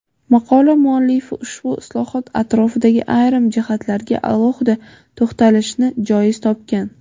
Maqola muallifi ushbu islohot atrofidagi ayrim jihatlarga alohida to‘xtalishni joiz topgan.